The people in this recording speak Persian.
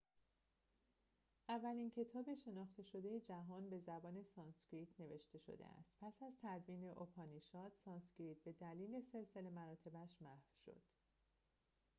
اولین کتاب شناخته شده جهان به زبان سانسکریت نوشته شده است پس از تدوین اوپانیشاد سانسکریت به‌دلیل سلسله مراتبش محو شد